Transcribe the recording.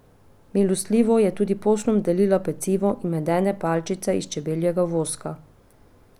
Milostljivo je tudi poslom delila pecivo in medene palčice iz čebeljega voska.